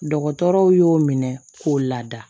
Dɔgɔtɔrɔw y'o minɛ k'o lada